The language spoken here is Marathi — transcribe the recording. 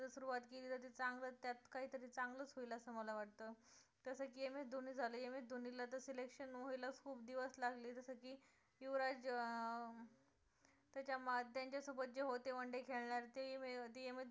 असं मला वाटतं तसं की एम एस धोनी झालं, एम एस धोनी ला तर selection व्हायला खूप दिवस लागले जसं की युवराज अं त्याच्या त्यांच्या सोबत जे होते one day खेळणारे ते एम एस धोनीला